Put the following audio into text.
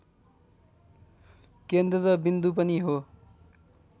केन्द्रबिन्दु पनि हो